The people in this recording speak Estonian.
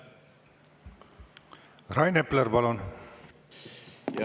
Rain Epler, palun!